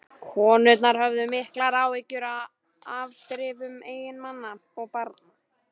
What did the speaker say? Konurnar höfðu miklar áhyggjur af afdrifum eiginmanna og barna.